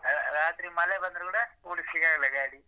ರಾತ್ರಿ ಮಳೆ ಬಂದ್ರೆ ಕೂಡ ಓಡಿಸ್ಲಿಕ್ಕೆ ಆಗಲ್ಲ ಗಾಡಿ